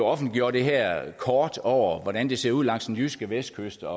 offentliggjorde det her kort over hvordan det ser ud langs den jyske vestkyst og